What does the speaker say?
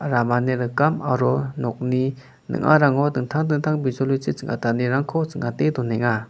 ramani rikam aro nokni ning·arango dingtang dingtang bijolichi ching·atanirangko ching·ate donenga.